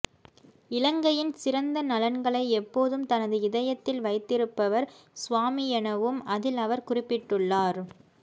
இலங்கையின் சிறந்த நலன்களைப் எப்போதும் தனது இதயத்தில் வைத்திருப்பவர் சுவாமி எனவும் அதில் அவர் குறிப்பிட்டுள்ளார்